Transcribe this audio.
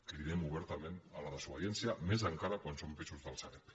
cridem ober·tament a la desobediència més encara quan són pisos de la sareb